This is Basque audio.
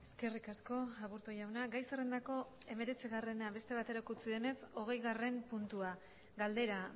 eskerrik asko aburto jauna gai zerrendako hemeretzigarrena beste baterako utzi denez hogeigarren puntua galdera